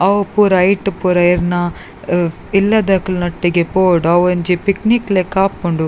ಅವು ಪೂರ ಐಟ್ ಪೂರ ಇರ್ನ ಇಲ್ಲದಕ್ಲೆನ ಒಟ್ಟಿಗೆ ಪೋವೊಡು ಅವೊಂಜಿ ಪಿಕ್ನಿಕ್ ಲೆಕ ಆಪುಂಡು.